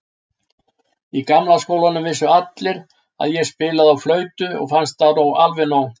Í gamla skólanum vissu allir að ég spilaði á flautu og fannst það alveg nóg.